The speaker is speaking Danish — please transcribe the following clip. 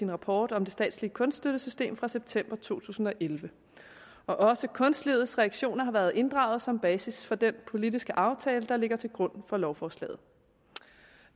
rapporten om det statslige kunststøttesystem fra september to tusind og elleve også kunstledets reaktioner har været inddraget som basis for den politiske aftale der ligger til grund for lovforslaget